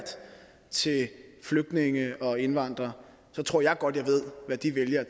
flygtninge og indvandrere så tror jeg godt jeg ved hvad de vælgere